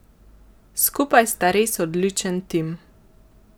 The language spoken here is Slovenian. Skupaj sta res odličen tim.